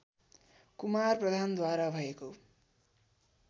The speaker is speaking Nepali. कुमार प्रधानद्वारा भएको